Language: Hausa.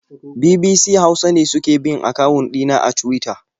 BBC Hausa ne suke bin akawun ɗina a Tuwita.